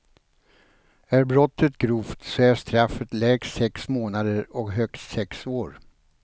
Är brottet grovt, så är straffet lägst sex månader och högst sex år.